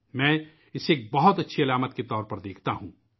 میں اسے ایک بہت اچھی علامت کے طور پر دیکھ رہا ہوں